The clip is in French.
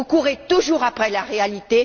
Vous courez toujours après la réalité.